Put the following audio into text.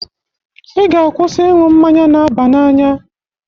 Ị ga-akwụsị iṅụ mmanya n'aba na anya!